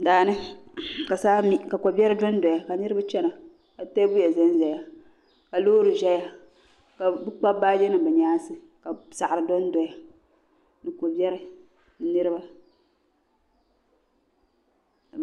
Daani ka saa mi ka koberi don doya, kanirib chana, ka tee biya zanzaya kalɔɔri ʒɛya, ka bi Kpabi baaji nim bi nyaaŋsi. ka saɣiri don doya, ni ko beri ni niriba.